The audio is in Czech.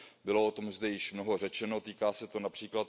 Bylo o tom zde již mnoho řečeno, týká se to např.